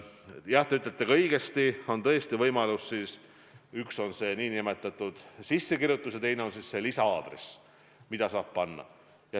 Jah, nagu te õigesti ütlesite, see võimalus on siis, kui on ametlik sissekirjutus ja teine see lisa-aadress.